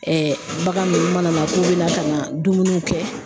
bagan ninnu mana na k'u bɛ na ka na dumuniw kɛ